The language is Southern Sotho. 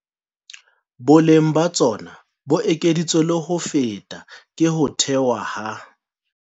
Boleng ba tsona bo ekeditswe le ho feta ke ho thewa ha